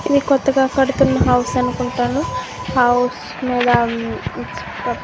ఇది కొత్తగా కడుతున్న హౌస్ అనుకుంటాను హౌ--